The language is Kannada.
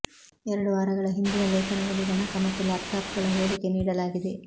ಎರಡು ವಾರಗಳ ಹಿಂದಿನ ಲೇಖನದಲ್ಲಿ ಗಣಕ ಮತ್ತು ಲ್ಯಾಪ್ಟಾಪ್ಗಳ ಹೋಲಿಕೆ ನೀಡಲಾಗಿದೆ